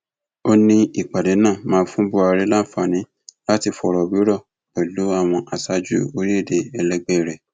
ó ní ìpàdé náà máa fún buhari láǹfààní láti fọrọ wérọ pẹlú àwọn aṣáájú orílẹèdè ẹlẹgbẹ rẹ